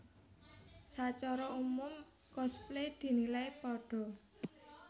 Sacara umum cosplay dinilai pada